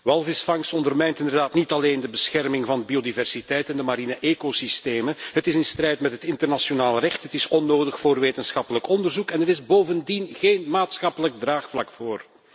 Walvisvangst ondermijnt inderdaad niet alleen de bescherming van biodiversiteit in de mariene ecosystemen, het is in strijd met het internationaal recht, het is onnodig voor wetenschappelijk onderzoek en er is bovendien geen maatschappelijk draagvlak voor.